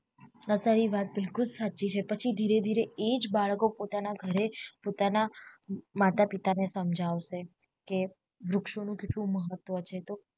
આ તારી વાત બિલકુલ સાચી છે પછી ધીરે ધીરે એ જ બાળકો પોતાના ઘરે પોતાના માતા પિતા ને સમજાવશે કે વૃક્ષો નું કેટલું મહત્વ છે તો